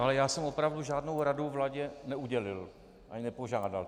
Ale já jsem opravdu žádnou rady vládě neudělil ani nepožádal.